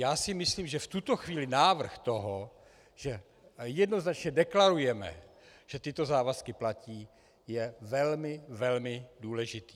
Já si myslím, že v tuto chvíli návrh toho, že jednoznačně deklarujeme, že tyto závazky platí, je velmi, velmi důležitý.